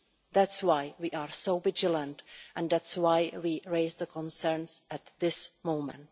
That is why we are so vigilant and that is why we have raised the concerns at this moment.